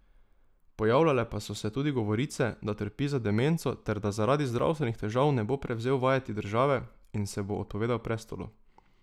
Pojavljale pa so se tudi govorice, da trpi za demenco ter da zaradi zdravstvenih težav ne bo prevzel vajeti države in se bo odpovedal prestolu.